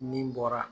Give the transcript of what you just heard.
Min bɔra